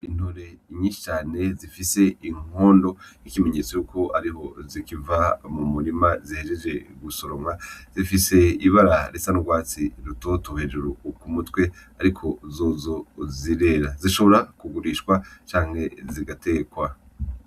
Intore nyishi cane zifise inkondo nk'ikimenyetso yuko ariho zikiva m'umurima zihejeje gusoromwa zifise ibara risa n'urwatsi rutoto hejuru k'umutwe ariko zozo zirera zishobora k'ugurishwa canke zigatekwa.